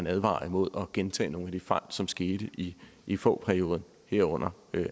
advaret mod at gentage nogle af de fejl som skete i i fogh perioden herunder